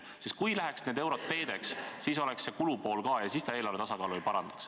Kui need eurod läheks teedeehituseks, siis oleks kulupool ka ja siis see raha eelarve tasakaalu ei parandaks.